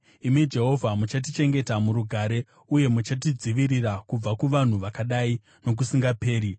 Imi Jehovha, muchatichengeta murugare uye muchatidzivirira kubva kuvanhu vakadai nokusingaperi.